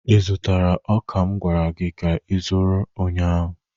ị zụtara ọka m gwara gị ka ịzụrụ ụnyaahụ?